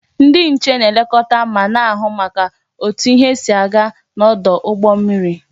Ndi nche na-elekota ma na-ahu maka otu ihe si aga n'odu ugbo mmiri